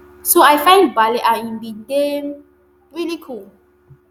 so i find ballet and e bin dey really cool